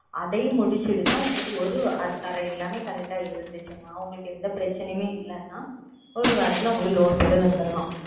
அதையும் முடித்து விட்டு தான் உங்களுக்கு ஓர் அதற்கான எல்லாமே Correct ஆகா இருந்தது என்றால் உங்களுக்கு எந்த பிரச்சனையும் இல்லை என்றால் ஓர் வாரத்தில் உங்களுக்கு Loan போட்டு தரலாம்